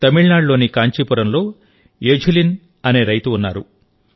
తమిళనాడులోని కాంచీపురంలో ఎఝిలన్ అనే రైతు ఉన్నారు